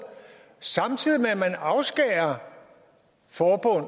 samtidig med at man afskærer forbund